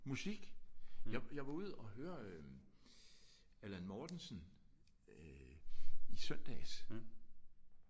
Musik! Jeg jeg var ude at høre øh Allan Mortensen øh i søndags